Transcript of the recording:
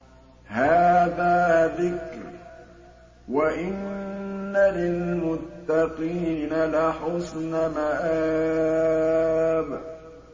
هَٰذَا ذِكْرٌ ۚ وَإِنَّ لِلْمُتَّقِينَ لَحُسْنَ مَآبٍ